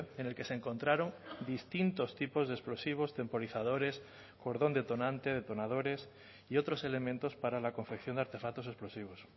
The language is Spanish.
en el que se encontraron distintos tipos de explosivos temporizadores cordón detonante detonadores y otros elementos para la confección de artefactos explosivos